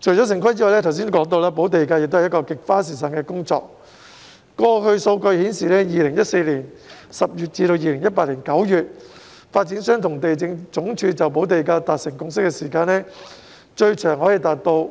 除了城市規劃外，我剛才提到補地價也是一項極花時間的工作，過去的數據顯示 ，2014 年10月至2018年9月，發展商和地政總署就補地價達成共識的時間，最長可以達到